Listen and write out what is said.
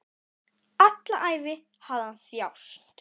Alla ævi hafði hann þjáðst.